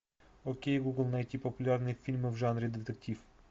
окей гугл найти популярные фильмы в жанре детектив